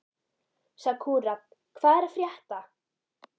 Sakura, hvað er að frétta?